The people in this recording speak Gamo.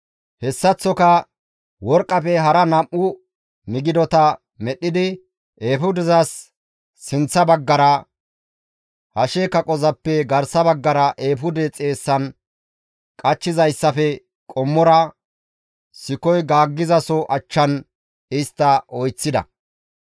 Hessaththoka worqqafe hara nam7u migidota medhdhidi, eefudezas sinththa baggara, hashe kaqozappe garsa baggara eefude xeessan qachchizayssafe qommora, sikoy gaaggizaso achchan istta oyththida.